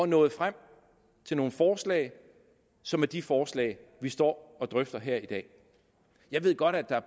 nået frem til nogle forslag som er de forslag vi står og drøfter her i dag jeg ved godt at der